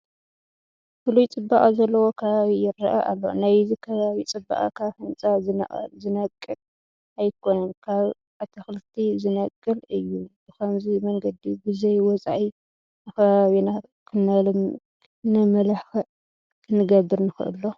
ፍሉይ ፅባቐ ዘለዎ ከባቢ ይርአ ኣሎ፡፡ ናይዚ ከባባ ፅባቐ ካብ ህንፃ ዝነቅል ኣይኮነን፡፡ ካብ ኣትክልቲ ዝነቅል እዩ፡፡ ብኸምዚ መንገዲ ብዘይወፃኢ ንከባቢና ክነምልክዕ ክንገብር ንኽእል ዶ?